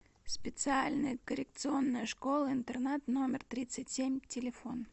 специальная коррекционная школа интернат номер тридцать семь телефон